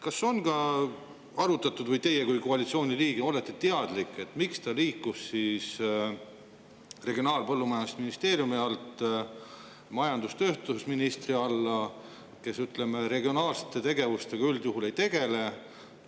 Kas on ka arutatud või kas teie kui koalitsiooni liige olete teadlik, miks see liikus Regionaal‑ ja Põllumajandusministeeriumi alt majandus‑ ja tööstusministri alla, kes regionaalsete tegevustega üldjuhul ei tegele?